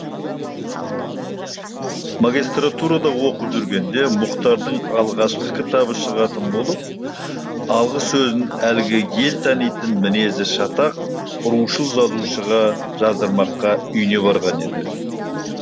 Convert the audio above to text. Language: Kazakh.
магистратурада оқып жүргенде мұхтардың алғашқы кітабы шығатын болып алғысөзін әлгі ел танитын мінезі шатақ рушыл жазушыға жаздырмаққа үйіне барған еді